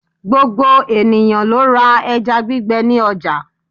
Gbogbo ènìyãn lo ra eja gbígbe ni ojà